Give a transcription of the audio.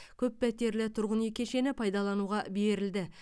көппәтерлі тұрғын үй кешені пайдалануға берілді